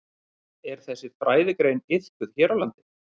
Er þessi fræðigrein iðkuð hér á landi?